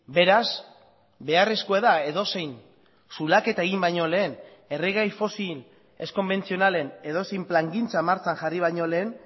beraz beharrezkoa da edozein zulaketa egin baino lehen erregai fosil ez konbentzionalen edozein plangintza martxan jarri baino lehen